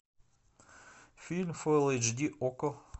фильм фул эйч ди окко